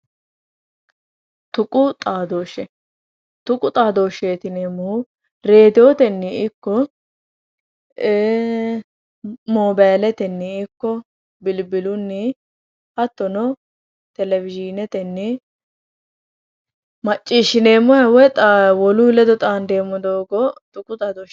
Tuqu xaadooshsheeti yineemmohu reediyootenni ikko moobaaletenni ikko bilbilunni hattono telewozhiinetenni macciishshineemmoha woy wolu ledo xaandeemmoha tuqu xaadooshsheeti yineemmo